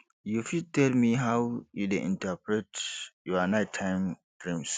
you fit tell me how you dey interpret your nighttime dreams